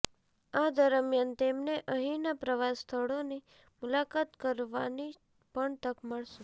આ દરમિયાન તેમને અહીનાં પ્રવાસ સ્થળોની મુલાકાત કરવાની પણ તક મળશે